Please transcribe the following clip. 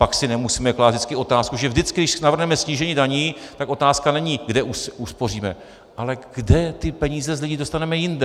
Pak si nemusíme klást vždycky otázku, že vždycky, když navrhneme snížení daní, tak otázka není, kde uspoříme, ale kde ty peníze z lidí dostaneme jinde.